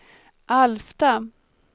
Alfta